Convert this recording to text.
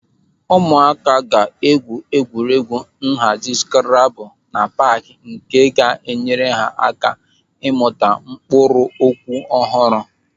Ụmụaka ga-egwú egwuregwu nhazi skrabul na paaki nke ga-enyere ha aka ịmụta mkpụrụ okwu ọhụrụ.